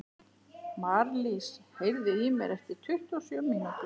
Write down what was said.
Marlís, heyrðu í mér eftir tuttugu og sjö mínútur.